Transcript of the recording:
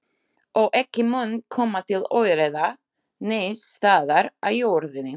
Og ekki mun koma til óeirða neins staðar á jörðinni.